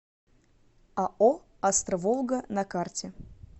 ао астро волга на карте